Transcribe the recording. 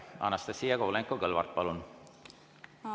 Anastassia Kovalenko-Kõlvart, palun!